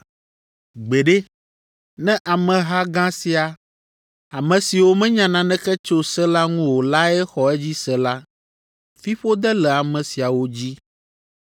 Gbeɖe! Ne ameha gã sia, ame siwo menya naneke tso se la ŋu o lae xɔ edzi se la, fiƒode le ame siawo dzi!”